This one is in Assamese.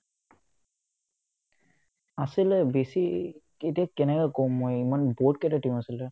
আছিলে বেছি এতিয়া কেনেকে ক'ম মই বহুতকেইটা team আছিলে